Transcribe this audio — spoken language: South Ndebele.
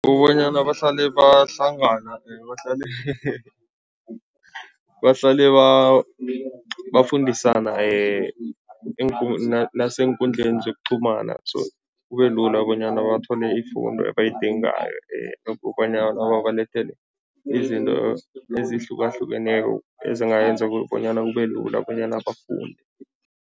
Ukubonyana bahlale bahlangana bahlale bahlale bafundisana naseenkundleni zokuqhumana so kube lula bonyana bathole ifundo ebayidingayo ukobanyana babalethele izinto ezihlukahlukeneko ezingayenza bonyana kube lula bonyana bafunde.